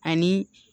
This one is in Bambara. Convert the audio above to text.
Ani